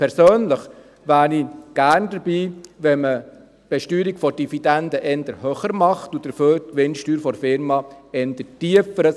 Persönlich wäre ich gerne dabei, wenn man die Besteuerung der Dividende eher höher und dafür die Gewinnsteuer der Unternehmen eher tiefer ansetzen würde.